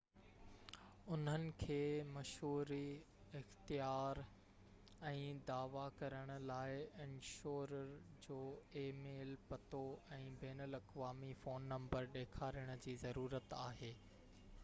انهن کي مشوري/اختيارن ۽ دعويٰ ڪرڻ لاءِ انشورر جو اي ميل پتو ۽ بين الاقوامي فون نمبرن ڏيکارڻ جي ضرورت آهي